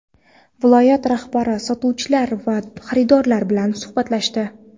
Viloyat rahbari sotuvchilar va xaridorlar bilan suhbatlashdi.